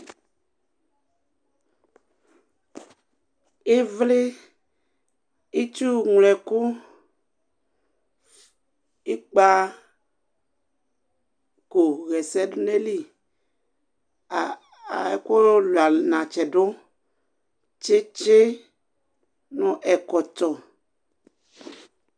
ïvlï itsu yloe ku ikpa ko ḥɛsɛ du nayili a a eku lua natsi du tsétsé nũ ɛkɔtɔ